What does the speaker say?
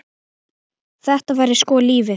Þetta væri sko lífið.